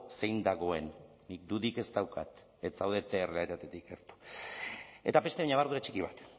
zein dagoen nik dudarik ez daukat ez zaudete errealitatetik gertu eta beste ñabardura txiki bat